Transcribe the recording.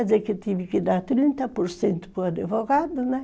Quer dizer que eu tive que dar trinta por cento para o advogado, né?